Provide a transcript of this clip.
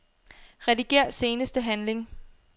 Rediger seneste handling.